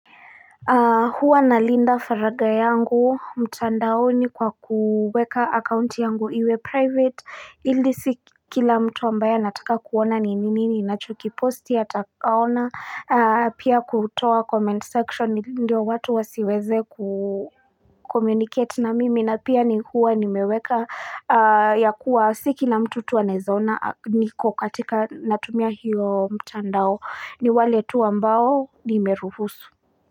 Huwa na linda faraga yangu mtandaoni ni kwa kuweka account yangu iwe private ili si kila mtu ambaye nataka kuona ni nini ninacho kiposti ata ona pia kutoa comment section ndio watu wasiweze ku communicate na mimi na pia ni huwa nimeweka ya kuwa si kila mtu tu anaeza ona niko katika natumia hiyo mtandao ni wale tu ambao nimeruhusu.